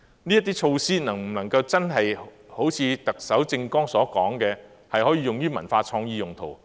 這些措施能否真的好像特首政綱所說，可以用於文化創意用途？